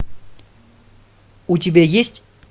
у тебя есть